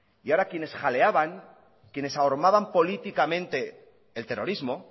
y ahora quienes jaleaban quienes ahormaban políticamente el terrorismo